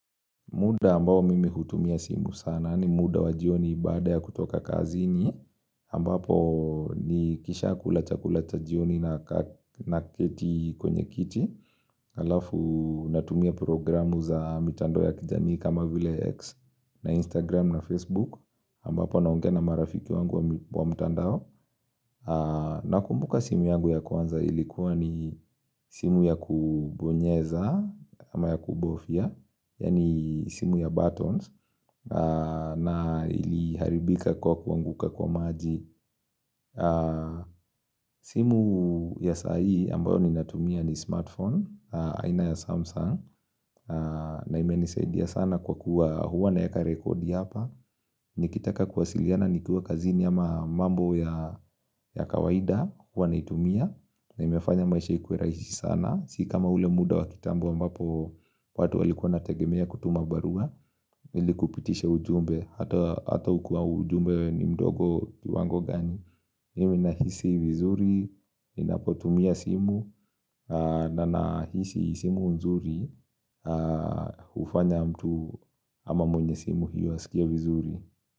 Muda ambao mimi hutumia simu sana ni muda wa jioni baada ya kutoka kazini ambapo ni kisha kula cha kula cha jioni na keti kwenye kiti alafu natumia programu za mitandao ya kijamii kama vile X na Instagram na Facebook ambapo naongea na marafiki wangu wa mtando na kumbuka simu yangu ya kwanza ilikuwa ni simu ya kubonyeza ama ya kubofia Yani simu ya buttons na iliharibika kwa kuanguka kwa maji simu ya sai ambayo ni natumia ni smartphone aina ya Samsung na ime nisaidia sana kwa kuwa huwa naeka rekodi hapa Nikitaka kuwasiliana nikua kazini ama mambo ya kawaida huwa na itumia na imefanya maisha ikue raisi sana Sikama ule muda wa kitambo ambapo watu walikuwa wanategemea kutuma barua ilikupitisha ujumbe hata ukua ujumbe ni mdogo kiwango gani mimi na hisi vizuri ninapotumia simu na na hisi simu nzuri hufanya mtu ama mwenye simu hiyo asikie vizuri.